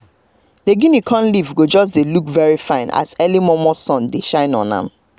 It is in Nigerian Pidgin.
we dey greet neighbors wey don already dey farm dey um work as um we dey waka um dey stroll